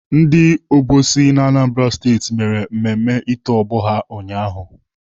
Ndị obosi na Anambra Steeti mere mmemme ito ọgbọ ha ụnyaahụ